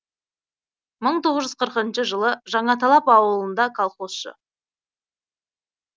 мың тоғыз жүз қырқыншы жылы жаңаталап ауылында колхозшы